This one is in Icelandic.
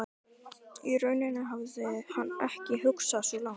Í rauninni hafði hann ekki hugsað svo langt.